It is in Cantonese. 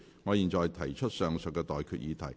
我現在向各位提出上述待決議題。